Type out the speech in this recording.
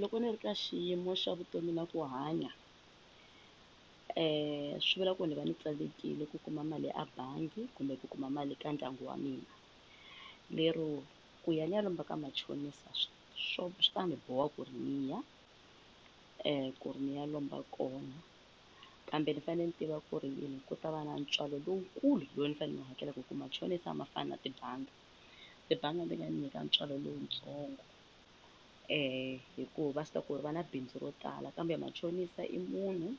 Loko ni ri ka xiyimo xa vutomi na ku hanya swi vula ku ni va ni tsandzekile ku kuma mali a bangi kumbe ku kuma mali ka ndyangu wa mina lero ku ya ni ya lomba ka machonisa swo swi ta ni boha ku ri ni ya ku ri ni ya lomba kona kambe ni fanele ni tiva ku ri ku ta va na ntswalo lowukulu lowu ni fanele ni hakelaku hi ku machonisi a ma fani na tibangi, tibangi ti nga ndzi nyika ntswalo lowutsongo hikuva va swi tiva ku ri va na bindzu ro tala kambe machonisa i munhu,